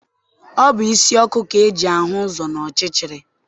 Ọ bụ isi ọkụ ka eji ahụ ụzọ n'ọchịchịrị.